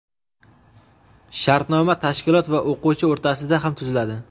Shartnoma tashkilot va o‘quvchi o‘rtasida ham tuziladi.